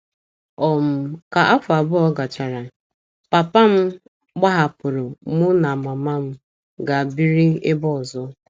um Ka afọ abụọ gachara, papa m gbahapụrụ mụ na mama m gaa biri ebe ọzọ.